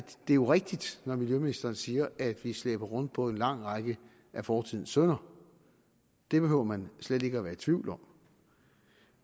det er rigtigt når miljøministeren siger at vi slæber rundt på en lang række af fortidens synder det behøver man slet ikke at være i tvivl om